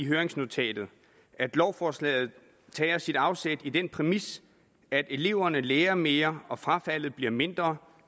høringsnotatet at lovforslaget tager sit afsæt i den præmis at eleverne lærer mere og frafaldet bliver mindre